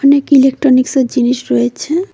অনেক ইলেকট্রনিক্সের জিনিস রয়েছে।